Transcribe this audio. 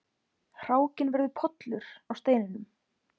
Hrákinn verður pollur á steininum.